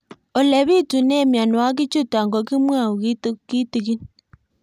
Ole pitune mionwek chutok ko kimwau kitig'ín